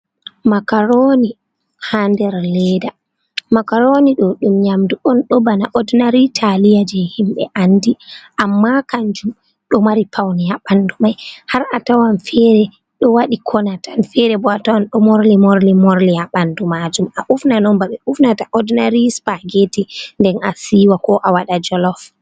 Makaroni ha nder leda, Makaroni ɗo ɗum nyamdu'on ɗo bana odinari Taliya je himbe andi. Amma Kanjum ɗo mafi Paune ha ɓandu mai har a tawan fere ɗo wadi Kona tan. fere bo atawan ɗo Morli morli, morli ha ɓandum Majum.A ufnan'on bana ɓe ufnata odinari Sipa getti, nde asiwa ko awaɗa jolof.